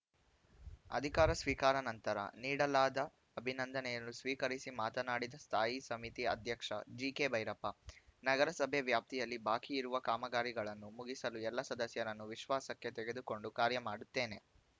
ಅಧಿಕಾರ ಸ್ವೀಕಾರ ನಂತರ ನೀಡಲಾದ ಅಭಿನಂದನೆಯನ್ನು ಸ್ವೀಕರಿಸಿ ಮಾತನಾಡಿದ ಸ್ಥಾಯಿ ಸಮಿತಿ ಅಧ್ಯಕ್ಷ ಜಿಕೆ ಭೈರಪ್ಪ ನಗರಸಭೆ ವ್ಯಾಪ್ತಿಯಲ್ಲಿ ಬಾಕಿ ಇರುವ ಕಾಮಗಾರಿಗಳನ್ನು ಮುಗಿಸಲು ಎಲ್ಲ ಸದಸ್ಯರನ್ನು ವಿಶ್ವಾಸಕ್ಕೆ ತೆಗೆದುಕೊಂಡು ಕಾರ್ಯ ಮಾಡುತ್ತೇನೆ